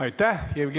Aitäh!